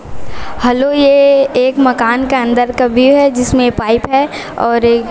hello ये एक मकान के अंदर व्यू है जिसमें पाइप है और ए--